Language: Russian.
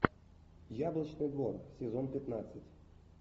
яблочный двор сезон пятнадцать